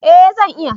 Eh zan iya